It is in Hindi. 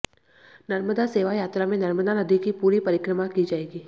नर्मदा सेवा यात्रा में नर्मदा नदी की पूरी परिक्रिमा की जाएगी